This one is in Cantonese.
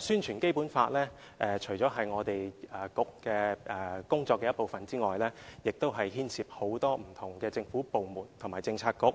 宣傳《基本法》除了是本局工作的一部分之外，亦牽涉很多不同政府部門和政策局，